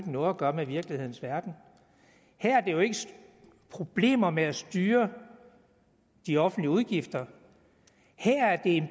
noget at gøre med virkelighedens verden her er det jo ikke problemer med at styre de offentlige udgifter her er det